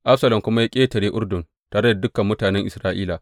Absalom kuma ya ƙetare Urdun tare da dukan mutanen Isra’ila.